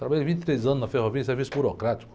Trabalhei vinte e três anos na ferrovia em serviço burocrático.